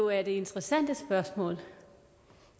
er det interessante spørgsmål